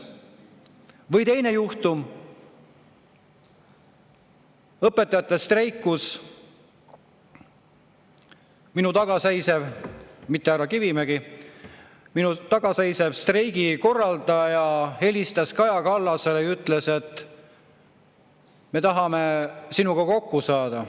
Või teine juhtum: õpetajate streik, kus minu taga seisev – mitte härra Kivimägi – streigi korraldaja helistas Kaja Kallasele ja ütles: "Me tahame sinuga kokku saada.